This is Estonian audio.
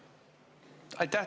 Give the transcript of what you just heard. Aitäh!